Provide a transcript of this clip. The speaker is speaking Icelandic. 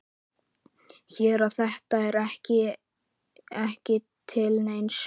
Sér að þetta er ekki til neins.